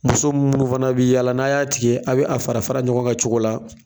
Muso minnu fana bɛ yaala, n'a y'a tigɛ a bɛ a fara fara ɲɔgɔn kan cogo la,